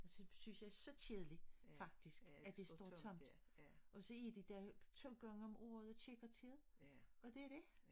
Så synes jeg så kedeligt faktisk at det står tomt og så er de der 2 gange okm året og tjekker til det og det dét